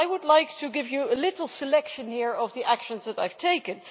Well, I would like to give you a little selection here of the actions that I have taken.